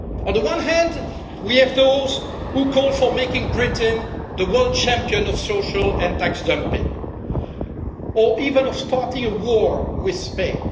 On the one hand, we have to all those who call for making Britain the world champion of social and tax dumping, or even for starting a war with Spain.